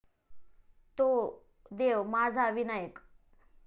तो देव माझा विनायक ॥